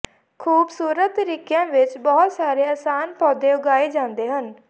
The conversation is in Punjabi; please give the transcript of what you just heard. ਖੂਬਸੂਰਤ ਤਰੀਕਿਆਂ ਵਿਚ ਬਹੁਤ ਸਾਰੇ ਅਸਾਨ ਪੌਦੇ ਉਗਾਏ ਜਾਂਦੇ ਹਨ